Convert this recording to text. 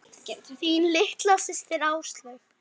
Þín litla systir, Áslaug.